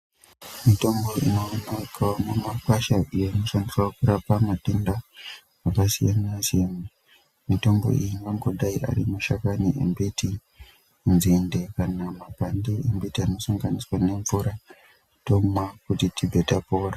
Mitombo ino oneka mu makwasha iyo ino shandiswa kurapa matenda aka siyana siyana mutombo iyi uno ngodai ari mashakani embiti nzinde kana makwande embiti ano sanganiswa ne mvura tomwa kuti tibve tapora.